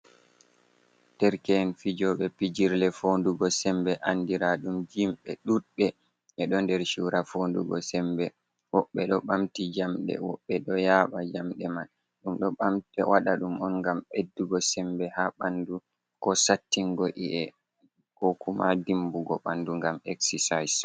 Derke’en fijoɓe pijirle fondugo sembe andira ɗum jim, ɓe ɗuɗbe ɓeɗo nder sura fondugo sembe, woɓɓe ɗo ɓamti jamɗe, woɓɓe ɗo yaɓa jamɗe man, ɗum waɗa ɗum on ngam ɓeddugo sembe ha ɓandu, ko sattingo i'e, ko kuma dimbugo ɓandu ngam exsesayis.